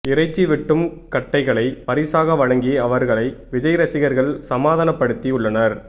இறைச்சி வெட்டும் கட்டைகளை பரிசாக வழங்கி அவர்களை விஜய் ரசிகர்கள் சமாதானப்படுத்தியுள்ளனர்